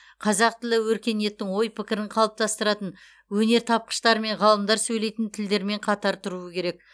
қазақ тілі өркениеттің ой пікірін қалыптастыратын өнертапқыштар мен ғалымдар сөйлейтін тілдермен қатар тұруы керек